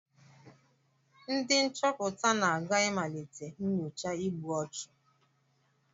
Ndị nchọpụta na-aga ịmalite nyocha igbu ọchụ